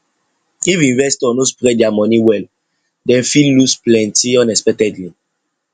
if investor no spread their money well dem fit lose plenty unexpectedly